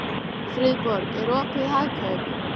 Friðborg, er opið í Hagkaup?